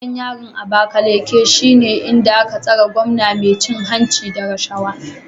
Gidan yarin Abakaleke shine inda aka tsare gwamnan mai cin hanci da rashawa